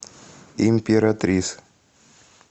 императрис